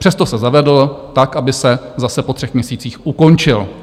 Přesto se zavedl tak, aby se zase po třech měsících ukončil.